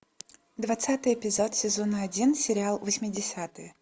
двадцатый эпизод сезона один сериал восьмидесятые